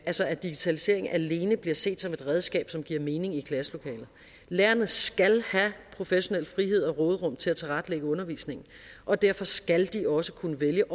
altså at digitaliseringen alene bliver set som et redskab som giver mening i klasselokalet lærerne skal have professionel frihed og råderum til at tilrettelægge undervisningen og derfor skal de også kunne vælge